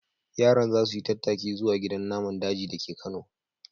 Yaran za su yi tattaki zuwa gidan naman daji da ke Kano.